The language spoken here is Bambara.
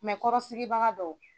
kɔrɔsigibaga dow.